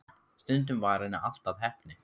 Stundum varð henni allt að heppni.